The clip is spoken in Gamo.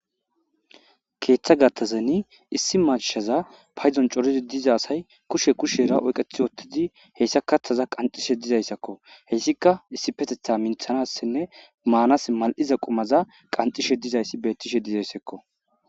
Keeththa gatthazeni issi mashaza payzon coridi diza asay kushe kushera oyqethi oottidi heyssa katthaza qanxishe dizayssakko heyssika issi petetha minthanassinne maanas mal'iza qumaza qancishe dizayssi bettishe dizayssakko.